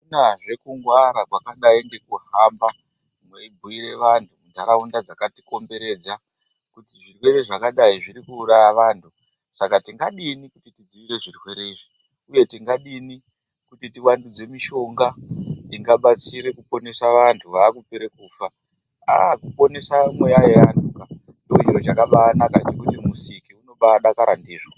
Akunazve kungwara kwakadai ndekuhamba mweibhuyira vanhu mundaraunda dzakatikomberedza kuti zvirwere zvakadai zviri kuuraya vantu, saka tingadini dzivirire zvirwere izvi, uye tingadini kuti tivandudze mishonga ingabatsira kuponesa vanhu vakupera kufa. A kuponesa mweya yevantuka ndicho chiro chakanaka chekuti Musiki unobadakara ndizvo.